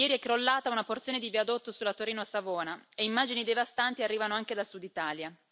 Ieri è crollata una porzione di viadotto sulla Torino Savona e immagini devastanti arrivano anche dal Sud Italia.